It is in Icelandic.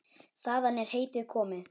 Þaðan er heitið komið.